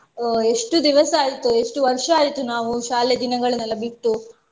ಅಹ್ ಎಷ್ಟು ದಿವಸ ಆಯ್ತು ಎಷ್ಟು ವರ್ಷ ಆಯ್ತು ನಾವು ಶಾಲೆ ದಿನಗಳನ್ನೆಲ್ಲ ಬಿಟ್ಟು.